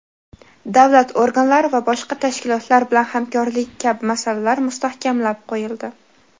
davlat organlari va boshqa tashkilotlar bilan hamkorligi kabi masalalar mustahkamlab qo‘yildi.